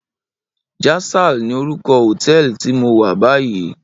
Jasal ni órúkò hótèlí ti mó wá bàyí